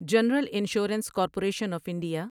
general insurance corporation of India